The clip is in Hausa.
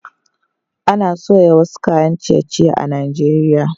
Ana soya wasu kayan ciye-ciye a Najeriya